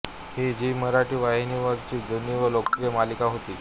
ही झी मराठी वाहिनीवरची जुनी व लोकप्रिय मालिका होती